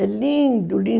É lindo, lindo.